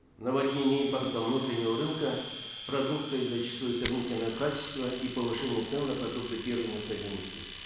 наводнение импортом внутреннего рынка продукция зачастую сомнительного качества и повышение цен на продукты первой необходимости